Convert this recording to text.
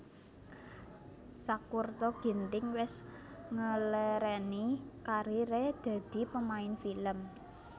Sakurta Ginting wes ngelereni karir e dadi pemain film